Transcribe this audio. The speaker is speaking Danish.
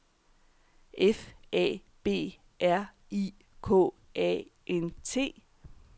F A B R I K A N T